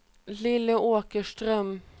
Lilly Åkerström